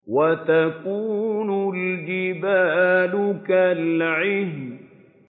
وَتَكُونُ الْجِبَالُ كَالْعِهْنِ